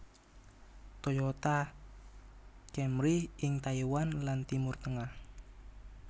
Toyota Camry ing Taiwan lan Timur Tengah